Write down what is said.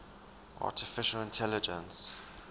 artificial intelligence